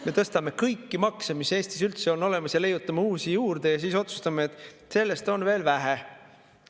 Me tõstame kõiki makse, mis Eestis üldse on olemas, ja leiutame uusi juurde ning siis otsustame, et sellest on veel vähe.